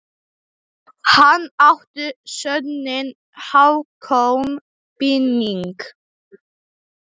Það kemur til af tvennu.